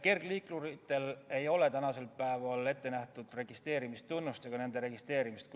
Kergliikuritele ei ole tänasel päeval registreerimistunnust ette nähtud ega nõuta nende registreerimist.